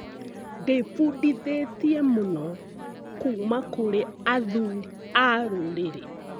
Ndĩbundithĩtie mũno kuuma kũrĩ athuri a rũrĩrĩ.